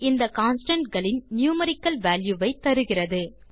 இந்த constantகளின் numerical value களை தருகிறது